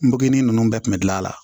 N benini ninnu bɛɛ tun bɛ gilan a la